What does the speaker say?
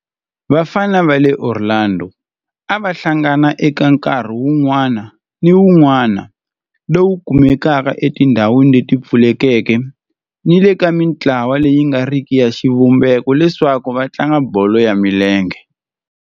Vafana va le Orlando a va hlangana eka nkarhi wun'wana ni wun'wana lowu kumekaka etindhawini leti pfulekeke ni le ka mintlawa leyi nga riki ya xivumbeko leswaku va tlanga bolo ya milenge.